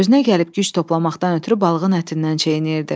Özünə gəlib güc toplamaqdan ötrü balığın ətindən çeynəyirdi.